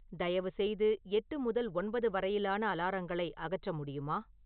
தயவு செய்து எட்டு முதல் ஒன்பது வரையிலான அலாரங்களை அகற்ற முடியுமா